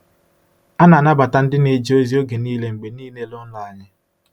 A na-anabata ndị na-eje ozi oge niile mgbe niile n’ụlọ anyị.